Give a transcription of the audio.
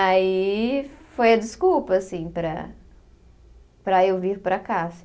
Aí foi a desculpa, assim, para para eu vir para cá, assim.